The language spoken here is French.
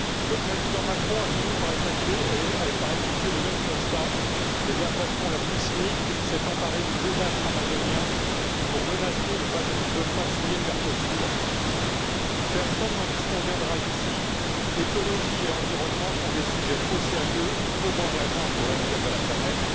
Le président Macron a fini par effectuer le même constat et, de la façon la plus cynique, s'est emparé du désastre amazonien pour menacer de ne pas signer le Mercosur. Personne n'en disconviendra ici, l'écologie et l'environnement sont des sujets trop sérieux et trop engageants pour l'avenir de la planète